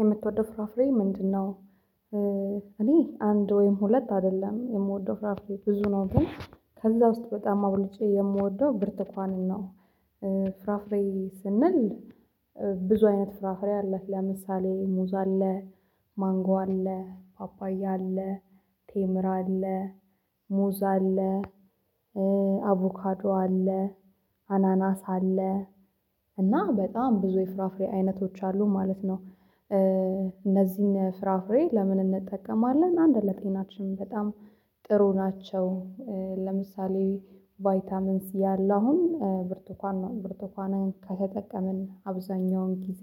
የምትወደው ፍራፍሬ ምንድነው እኔ አንድ ወይም ሁለት አይደለም የምወደው ፍራፍሬ ብዙ ነው ግን ከዛ ውስጥ በጣም አብልጬ የምወደው ብርትኳንን ነው ፍራፍሬ ስንል ብዙ አይነት ፍራፍሬ አለ ለምሳሌ ሙ አለ ማንጎ አለ ፓፓያ አለ ቴምራ አለ ሙዝ አለ አቮካዶ አለ አናናስ አለ እና በጣም ብዙ የፍራፍሬ አይነቶች አሉ ማለት ነው እነዚህን ፍራፍሬ ለምን እንጠቀማለን አንድ ለጤናችን በጣም ጥሩ ናቸው ለምሳሌ ቫይታሚን ሲ ያለው አሁን ብርቱኳን ነው ብርቱኳንን ከተጠቀምን አብዛኛውን ጊዜ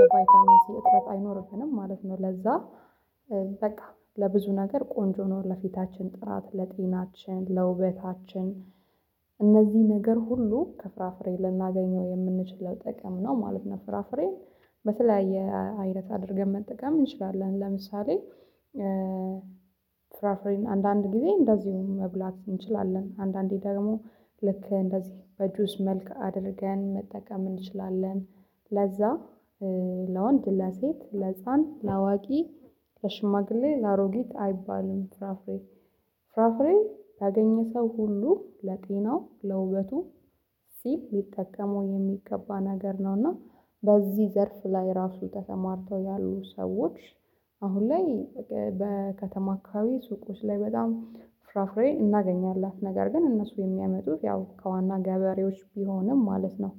የቫይታሚን ሲ እጥረት አይኖርብንም ማለት ነው ለዛ በቃ ለብዙ ነገር ቆንጆ ነው ለፊታችን ጥራት ለጤናችን ለውበታችን እነዚህ ነገር ሁሉ ከፍራፍሬ ልናገኘው የምንችለው ጥቅም ነው ማለት ነው ፍራፍሬን በተለያየ አይነት አድርገን መጠቀም እንችላለን ለምሳሌ ፍራፍሬን አንዳንድ ጊዜ እንደዚሁም መብላት እንችላለን አንዳንዴ ደግሞ ልክ እንደዚህ በጁስ መልክ አድርገን መጠቀም እንችላለን ለዛ ለወንድ ለሴት ለህጻን ለአዋቂ ለሽማግሌ ለአሮጊት አይባልም ፍራፍሬ። ፍራፍሬ ያገኘ ሰው ሁሉ ለጤናው ለውበቱ ሲል ሊጠቀመው የሚገባ ነገር ነውና በዚህ ዘርፍ ላይ ራሱ ተሰማርተው ያሉ ሰዎች አሁን ላይ በከተማ አካባቢ ሱቆች ላይ በጣም ፍራፍሬ እናገኛላት ነገር ግን እነሱ የሚያመጡት ያው ከዋና ገበሬዎች ቢሆንም ማለት ነው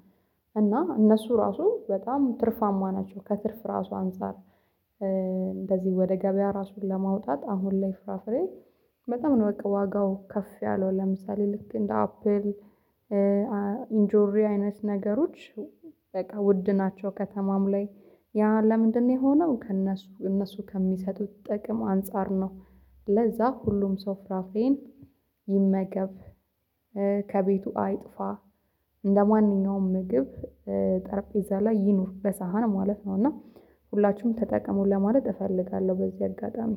እና እነሱ ራሱ በጣም ትርፋማ ናቸው ከትርፍ ራሱ አንፃር እንደዚህ ወደ ገበያ ራሱን ለማውጣት አሁን ላይ ፍራፍሬ በጣም ነው በቃ ዋጋው ከፍ ያለው ለምሳሌ ልክ እንደ አፕል ኢንጆሪ አይነት ነገሮች በቃ ውድ ናቸው ከተማም ላይ ያ ለምንድነው የሆነው ከእነሱ እነሱ ከሚሰጡት ጥቅም አንፃር ነው ለዛ ሁሉም ሰው ፍራፍሬን ይመገብ ከቤቱ አይጥፋ እንደማንኛውም ምግብ ጠርጴዛ ላይ ይኑር በሳህን ማለት ነው እና ሁላችሁም ተጠቀሙ ለማለት እፈልጋለሁ በዚህ አጋጣሚ